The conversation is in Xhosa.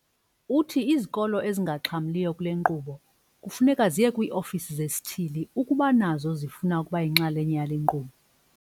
Uthi izikolo ezingaxhamliyo kule nkqubo kufuneka ziye kwii-ofisi zesithili ukuba nazo zifuna ukuba yinxalenye yale nkqubo.